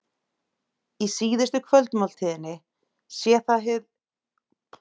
Í síðustu kvöldmáltíðinni sé það hið uppbyggilega samfélag sem sé miðlægt.